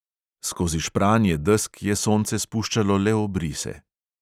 Skozi špranje desk je sonce spuščalo le obrise.